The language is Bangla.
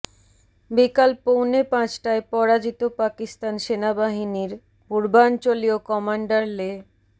বিকাল পৌনে পাঁচটায় পরাজিত পাকিস্তান সেনাবাহিনীর পূর্বাঞ্চলীয় কমান্ডার লে